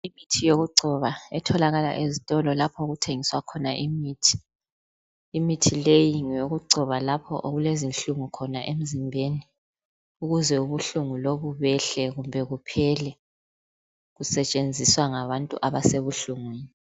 kutholakala ezitolo lapha okuthengiswa khona imithi, imithi leyi ngeyoku gcoba lapha okulenhlungu khona emzimbeni ukuze ubuhlungu lobu behle kumbe kuphele kusetshenziswa ngabantu abasenhlungwini